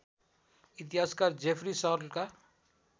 इतिहासकार जेफरी सर्लका